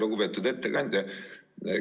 Lugupeetud ettekandja!